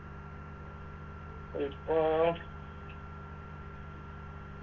ഇപ്പൊ